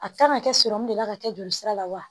A kan ka kɛ de la ka kɛ joli sira la wa